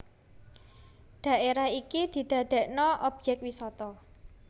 Dhaérah iki didadèkna obyèk wisata